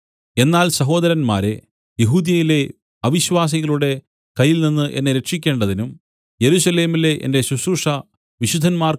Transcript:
എന്നാൽ സഹോദരന്മാരേ യെഹൂദ്യയിലെ അവിശ്വാസികളുടെ കയ്യിൽനിന്ന് എന്നെ രക്ഷിക്കേണ്ടതിനും യെരൂശലേമിലെ എന്റെ ശുശ്രൂഷ വിശുദ്ധന്മാർക്ക്